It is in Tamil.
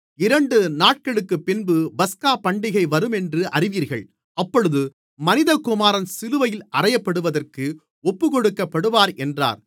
இரண்டு நாட்களுக்குப்பின்பு பஸ்காபண்டிகை வருமென்று அறிவீர்கள் அப்பொழுது மனிதகுமாரன் சிலுவையில் அறையப்படுவதற்கு ஒப்புக்கொடுக்கப்படுவார் என்றார்